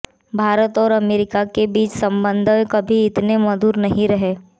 भारत और अमेरिका के बीच संबंध पहले कभी इतने मधुर नहीं रहे